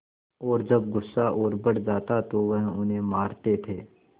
और जब गुस्सा और बढ़ जाता तो वह उन्हें मारते थे